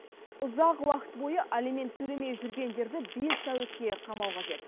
ұзақ уақыт бойы алимент төлемей жүргендерді бес тәулікке қамау қажет